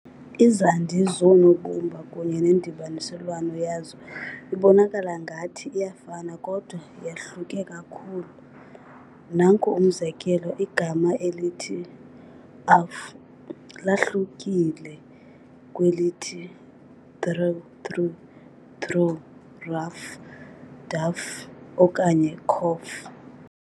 Izandi zoonobumba kunye nendibaniselwano yazo ibonakala ngathi iyafana kodwa yahluke kakhulu. Nanku umzekelo igama elithi "ough" lahlukile kwelithi "through", threw, "rough", ruff, dough, doe, okanye "cough", coff.